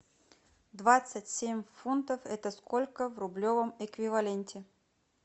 двадцать семь фунтов это сколько в рублевом эквиваленте